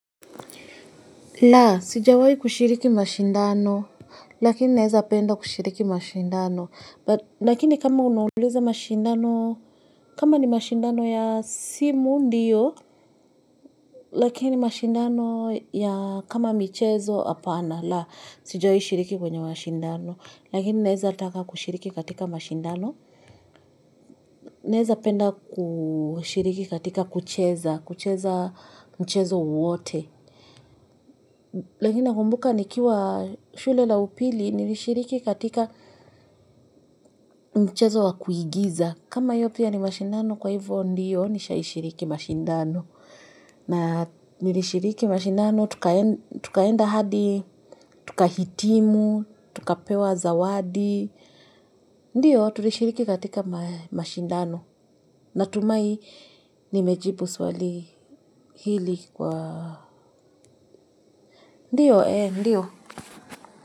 La, sijawahi kushiriki mashindano. Lakini naweza penda kushiriki mashindano. Lakini kama unauliza mashindano, kama ni mashindano ya simu ndiyo. Lakini mashindano ya kama michezo hapana. Laa, sijawayi shiriki kwenye mashindano. Lakini naweza taka kushiriki katika mashindano. Naweza penda kushiriki katika kucheza, kucheza mchezo wowote. Lakini nakumbuka nikiwa shule la upili nilishiriki katika mchezo wa kuigiza. Kama hiyo pia ni mashindano kwa hivyo ndiyo nishaishiriki mashindano. Na nilishiriki mashindano tukaenda hadi, tukahitimu, tukapewa zawadi. Ndiyo tulishiriki katika mashindano. Natumai nimejibu swali hili kwa Ndiyo ee ndiyo.